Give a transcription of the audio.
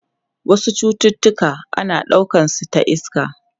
Wasu cututtuka ana daukar su ta iska.